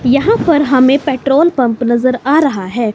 यहां पर हमें पेट्रोल पंप नजर आ रहा है।